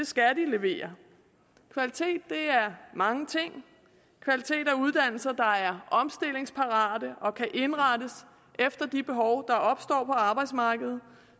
skal de levere kvalitet er mange ting kvalitet er uddannelser der er omstillingsparate og kan indrettes efter de behov der opstår på arbejdsmarkedet